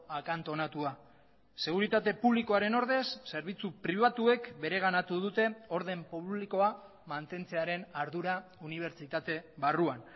akantonatua seguritate publikoaren ordez zerbitzu pribatuek bereganatu dute orden publikoa mantentzearen ardura unibertsitate barruan